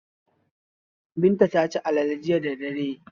Binta ta ci alale jiya da dare.